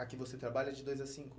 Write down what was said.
Aqui você trabalha de dois a cinco?